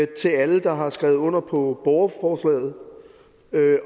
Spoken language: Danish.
til alle der har skrevet under på borgerforslaget